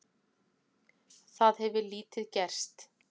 Það hefur lítið gerst.